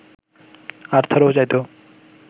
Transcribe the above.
আর্থারও চাইত